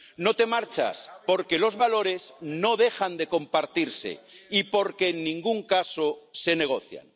No te marchas porque los valores no dejan de compartirse y porque en ningún caso se negocian.